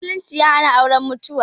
Musulunci ya hana auren mutu'a